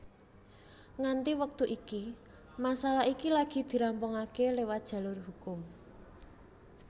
Nganti wektu iki masalah iki lagi dirampungaké liwat jalur hukum